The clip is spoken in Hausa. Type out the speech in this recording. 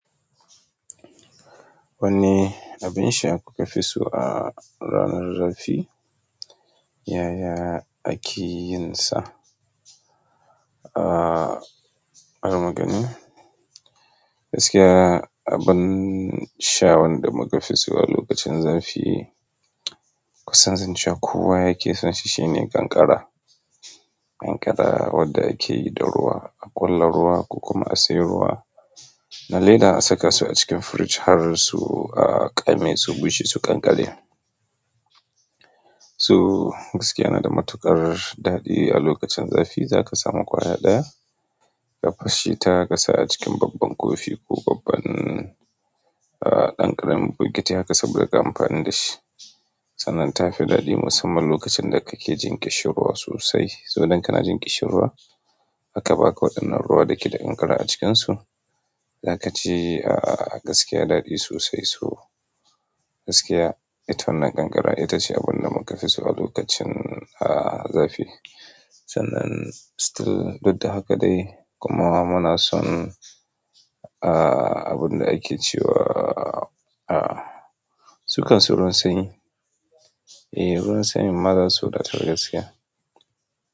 Wanne abin sha kuka fi so a ranar zafi? Yaya ake yin sa. Bari mu gani. Gaskiya a abin sha wanda muka fi so a lokacin zafi, kusan zance kowa yake son shi, shine kankara. Kankara wadda akeyi da ruwa, a ƙulla ruwa, ko kuma a siya ruwa na leda a saka su a cikin firij har su ƙame, su bushe, su ƙanƙare. So gaskiya nada matuƙar daɗi a lokacin zafi. Zaka samu ƙwaya ɗaya ka fashe ta ka sa a cikin babban kofi ko babban, ah, ɗan ƙaramin bukiti haka saboda ka amfana da shi. Sannan ta fi daɗi musamman lokacin da kake jin ƙishirwa sosai. To idan kana jin ƙishin ruwa aka ba ka waɗannan ruwa da ke da ƙankara a cikin su za ka cei, ah, gaskiya daɗi sosai. To gaskiya, ita wannan ƙankara ita ce abun da muka fi so a lokacin, ah, zafi. Sannan still, duk da haka dai kuma muna son, ah, abun da ake cewa, ah, su kan sun ruwan sanyi. Eh ruwan sanyin ma za su wadatar gaskiya.